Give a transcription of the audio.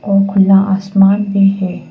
ओ खुला आसमान भी है।